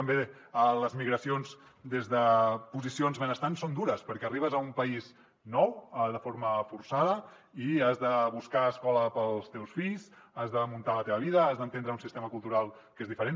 també les migracions des de posicions benestants són dures perquè arribes a un país nou de forma forçada i has de buscar escola per als teus fills has de muntar la teva vida has d’entendre un sistema cultural que és diferent